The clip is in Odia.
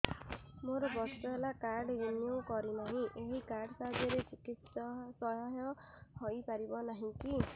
ମୋର ବର୍ଷେ ହେଲା କାର୍ଡ ରିନିଓ କରିନାହିଁ ଏହି କାର୍ଡ ସାହାଯ୍ୟରେ ଚିକିସୟା ହୈ ପାରିବନାହିଁ କି